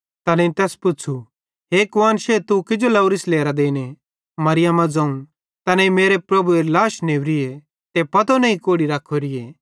तैनेईं तैस पुच़्छ़ू हे कुआन्शे तू किजो लोरिस लेरां देने मरियमा ज़ोवं तैनेईं मेरे प्रभुएरी लाश नेवरीए ते पतो नईं कोड़ि रख्खोरोए